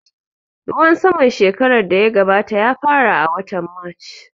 Ruwan saman shekaran da ya gabata ya fara a watan march